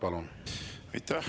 Aitäh!